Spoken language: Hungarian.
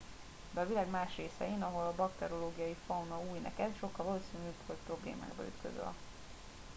de a világ más részein ahol a bakteriológiai fauna új neked sokkal valószínűbb hogy problémákba ütközöl